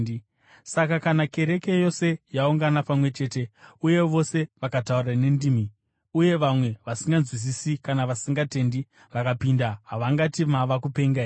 Saka kana kereke yose yaungana pamwe chete uye vose vakataura nendimi, uye vamwe vasinganzwisisi kana vasingatendi vakapinda, havangati mava kupenga here?